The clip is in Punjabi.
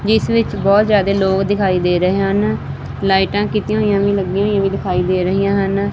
ਜਿੱਸ ਵਿੱਚ ਬਹੁਤ ਜ਼ਿਆਦੇ ਲੋਗ ਦਿਖਾਈ ਦੇ ਰਹੇ ਹਨ ਲਾਈਟਾਂ ਕੀਤੀਆਂ ਹੋਈਆਂ ਵੀ ਲਗਾਈਆਂ ਹੋਇਆਂ ਵੀ ਦਿਖਾਈ ਦੇ ਰਹੀਆਂ ਹਨ।